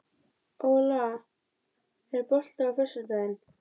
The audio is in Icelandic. Við höfum ekki gert neitt ennþá, við erum ekki meistarar.